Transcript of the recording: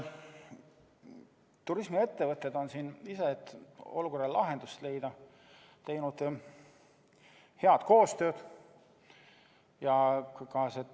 Turismiettevõtted on ise püüdnud olukorrale lahendust leida ja teinud head koostööd.